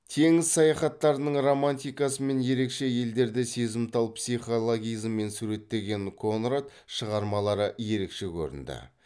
теңіз саяхаттарының романтикасы мен ерекше елдерді сезімтал психологизммен суреттеген конрад шығармалары ерекше көрінді